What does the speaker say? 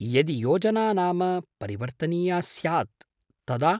यदि योजना नाम परिवर्तनीया स्यात् तदा ?